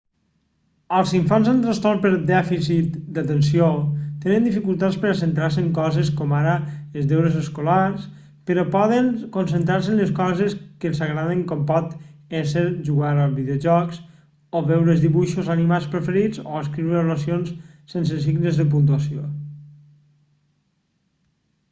els infants amb trastorn per dèficit d'atenció tenen dificultats per a centrar-se en coses com ara els deures escolars però poden concentrar-se en les coses que els agraden com pot ésser jugar a videojocs o veure els dibuixos animats preferits o escriure oracions sense signes de puntuació